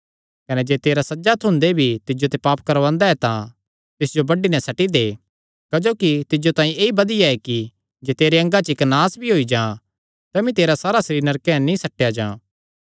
कने जे तेरा सज्जा हत्थ हुंदे भी तिज्जो ते पाप करवांदा ऐ तां तिस जो बड्डी नैं सट्टी दे क्जोकि तिज्जो तांई ऐई बधिया ऐ कि जे तेरे अंगा च इक्क नास भी होई जां तमी तेरा सारा सरीर नरके नीं सट्टेया जां